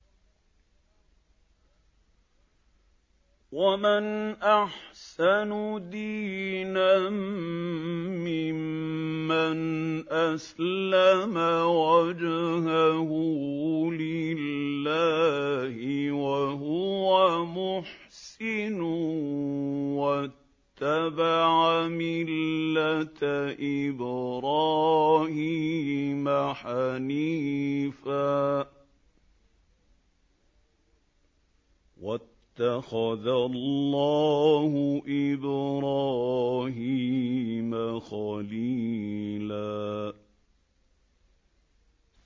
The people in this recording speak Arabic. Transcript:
وَمَنْ أَحْسَنُ دِينًا مِّمَّنْ أَسْلَمَ وَجْهَهُ لِلَّهِ وَهُوَ مُحْسِنٌ وَاتَّبَعَ مِلَّةَ إِبْرَاهِيمَ حَنِيفًا ۗ وَاتَّخَذَ اللَّهُ إِبْرَاهِيمَ خَلِيلًا